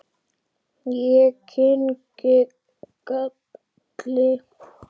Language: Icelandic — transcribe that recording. Ég kyngi galli.